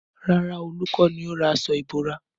Rárá, Olu kọ́ ni ó ra aṣọ ìbora